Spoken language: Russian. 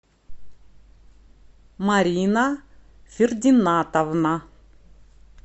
марина фердинатовна